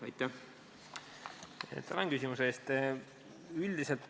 Tänan küsimuse eest!